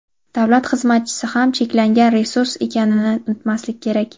davlat xizmatchisi ham cheklangan resurs ekanini unutmaslik kerak.